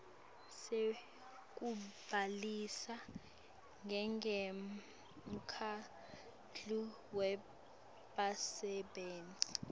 sekubhalisa njengemkhandlu webasebenti